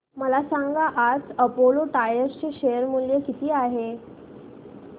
मला सांगा आज अपोलो टायर्स चे शेअर मूल्य किती आहे